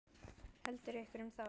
Heldur hverjum þá?